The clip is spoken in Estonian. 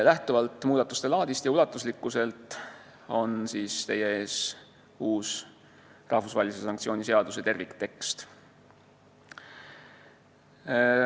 Lähtuvalt muudatuste laadist ja ulatuslikkusest on teie ees uus rahvusvahelise sanktsiooni seaduse terviktekst.